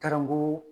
Garamu